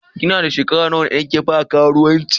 Ki na a'shekara nawa ne da kin fara karuwanci?